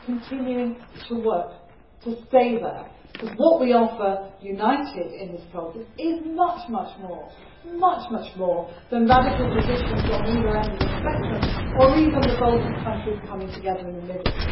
We are continuing to work to stay there, because what we offer, united in this process, is much more than radical positions on either end of the spectrum, or even the bulk of countries coming together in the middle.